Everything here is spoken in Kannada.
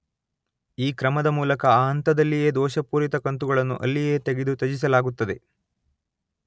ಈ ಕ್ರಮದ ಮೂಲಕ ಆ ಹಂತದಲ್ಲಿಯೇ ದೋಷಪೂರಿತ ಕಂತುಗಳನ್ನು ಅಲ್ಲಿಯೇ ತೆಗೆದು ತ್ಯಜಿಸಲಾಗುತ್ತದೆ.